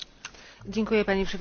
Panie Przewodniczący!